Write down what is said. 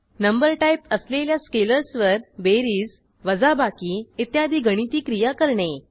number type असलेल्या स्केलर्सवर बेरीज वजाबाकी इत्यादी गणिती क्रिया करणे